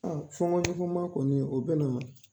A fɔgɔn ɲɔgɔn ma kɔni o be na